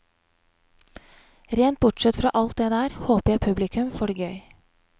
Rent bortsett fra alt det der, håper jeg publikum får det gøy.